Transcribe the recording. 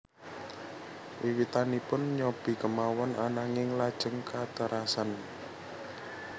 Wiwitanipun nyobi kemawon ananging lajeng katerasan